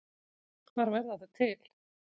Hvar verða þau til?